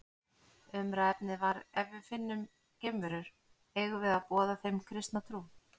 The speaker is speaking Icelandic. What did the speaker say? Umræðuefnið var Ef við finnum geimverur, eigum við að boða þeim kristna trú?